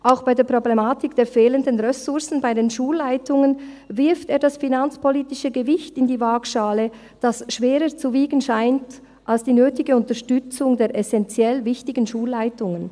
Auch bei der Problematik der fehlenden Ressourcen bei den Schulleitungen wirft er das finanzpolitische Gewicht in die Waagschale, das schwerer zu wiegen scheint als die nötige Unterstützung der essenziell wichtigen Schulleitungen.